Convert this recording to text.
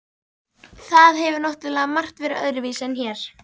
Það hefur náttúrlega margt verið öðruvísi en hér.